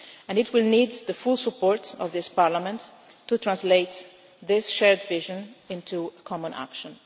needs. It will need the full support of this Parliament to translate this shared vision into common action.